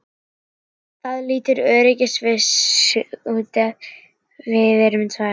Það lítur öðruvísi út ef við erum tvær.